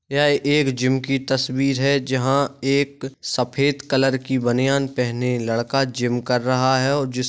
यह एक जिम की तस्वीर है जहाँ एक सफेद कलर की बानियान पहेने लड़का जिम कर रहा है और जिस--